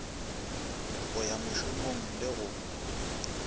go ya mošomong le go